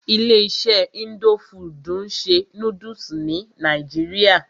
Ilé iṣé indo fudù ń ṣe nódúsì ní nàìjíría.